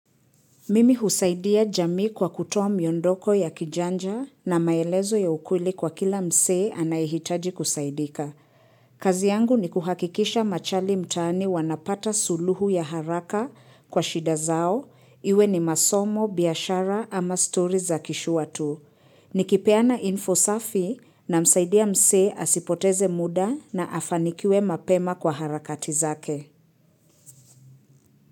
Mimi husaidia jamii kwa kutoa mondoko ya kijanja na maelezo ya ukweli kwa kila msee anayehitaji kusaidika. Kazi yangu ni kuhakikisha machali mtaani wanapata suluhu ya haraka kwa shida zao, iwe ni masomo, biashara ama stories za kishua tu. Nikipeana info safi na msaidia msee asipoteze muda na afanikiwe mapema kwa harakati zake.